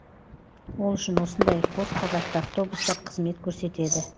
ол үшін осындай қос қабатты автобустар қызмет көрсетеді